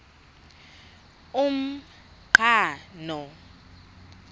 umqhano